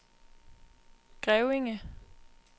Grevinge